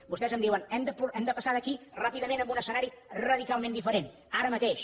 vostès em diuen hem de passar d’aquí ràpidament a un escenari radicalment diferent ara mateix